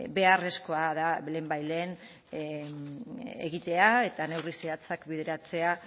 beharrezkoa da lehenbailehen egitea eta neurri zehatzak bideratzea